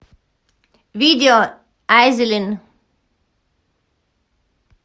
видео айзелин